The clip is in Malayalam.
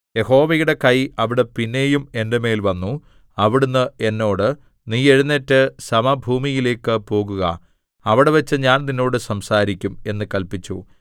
യഹോവയുടെ കൈ അവിടെ പിന്നെയും എന്റെ മേൽ വന്നു അവിടുന്ന് എന്നോട് നീ എഴുന്നേറ്റ് സമഭൂമിയിലേക്കു പോകുക അവിടെവച്ച് ഞാൻ നിന്നോട് സംസാരിക്കും എന്ന് കല്പിച്ചു